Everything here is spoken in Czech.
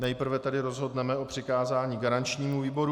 Nejprve tedy rozhodneme o přikázání garančnímu výboru.